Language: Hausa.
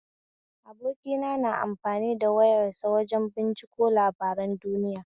Abokina na amfani da wayar sa wajen binciko labaran duniya.